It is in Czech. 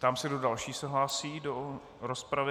Ptám se, kdo další se hlásí do rozpravy.